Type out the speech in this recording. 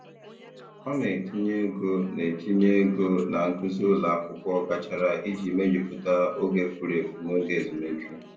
Ọ na-etinye ego na-etinye ego na nkuzi ụlọ akwụkwọ gachara iji mejupụta oge furu efu n'oge ezumike.